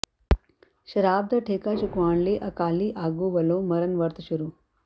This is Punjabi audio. ਸ਼ਰਾਬ ਦਾ ਠੇਕਾ ਚੁਕਵਾਉਣ ਲਈ ਅਕਾਲੀ ਆਗੂ ਵੱਲੋਂ ਮਰਨ ਵਰਤ ਸ਼ੁਰੂ